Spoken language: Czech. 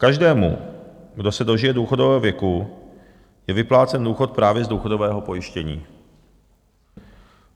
Každému, kdo se dožije důchodového věku, je vyplácen důchod právě z důchodového pojištění.